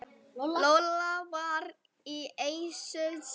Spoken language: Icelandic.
Lolla var í essinu sínu.